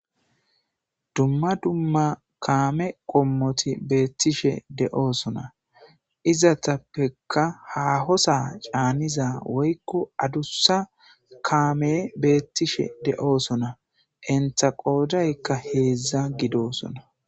dumma dumma kaame qommoti beettishe de'osona. izatappekka hahosa caaniza woykko adussa kaame beettishe de'oosona. enta qoodaykka heedzdza gidosona.